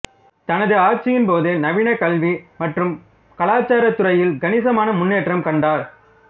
தனது ஆட்சியின் போது நவீன கல்வி மற்றும் கலாச்சாரத் துறையில் கணிசமான முன்னேற்றம் கண்டார்